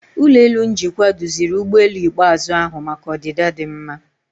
Ụlọ elu njikwa duziri ụgbọelu ikpeazụ ahu maka ọdịda dị mma.